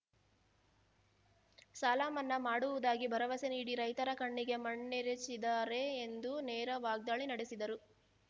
ಸಾಲಮನ್ನಾ ಮಾಡುವುದಾಗಿ ಭರವಸೆ ನೀಡಿ ರೈತರ ಕಣ್ಣಿಗೆ ಮಣ್ಣೆರಚಿದಾರೆ ಎಂದು ನೇರ ವಾಗ್ದಾಳಿ ನಡೆಸಿದರು